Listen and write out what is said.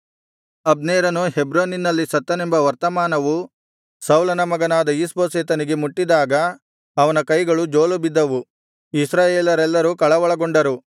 ಅಬ್ನೇರನು ಹೆಬ್ರೋನಿನಲ್ಲಿ ಸತ್ತನೆಂಬ ವರ್ತಮಾನವು ಸೌಲನ ಮಗನಾದ ಈಷ್ಬೋಶೆತನಿಗೆ ಮುಟ್ಟಿದಾಗ ಅವನ ಕೈಗಳು ಜೋಲುಬಿದ್ದವು ಇಸ್ರಾಯೇಲರೆಲ್ಲರು ಕಳವಳಗೊಂಡರು